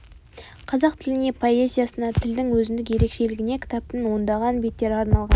қазақ тіліне поэзиясына тілдің өзіндік ерекшелігіне кітаптың ондаған беттері арналған